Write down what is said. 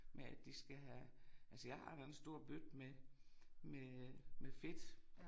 Med at de skal have altså jeg har da en stor bøtte med med øh med fedt